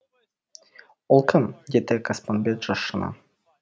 ол кім деді қоспанбет шошына